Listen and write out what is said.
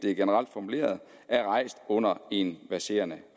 er generelt formuleret er rejst under en verserende